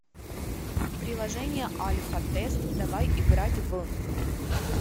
приложение альфа тест давай играть в